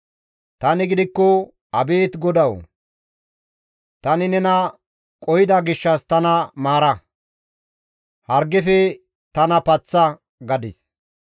Tani gidikko, «Abeet GODAWU! tani nena qohida gishshas tana maara; hargefe tana paththa» gadis.